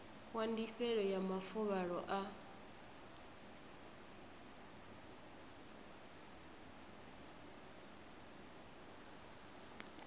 wa ndifhelo ya mafuvhalo a